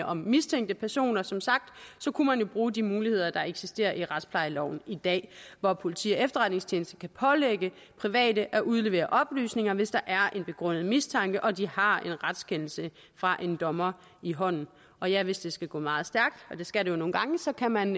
om mistænkte personer som sagt bruge de muligheder der eksisterer i retsplejeloven i dag hvor politi og efterretningstjeneste kan pålægge private at udlevere oplysninger hvis der er en begrundet mistanke og de har en retskendelse fra en dommer i hånden og ja hvis det skal gå meget stærkt og det skal det jo nogle gange så kan man